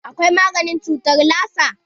Akwai maganin cutar lasa.